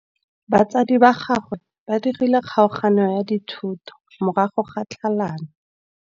Batsadi ba gagwe ba dirile kgaoganyô ya dithoto morago ga tlhalanô.